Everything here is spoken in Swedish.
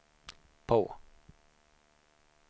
på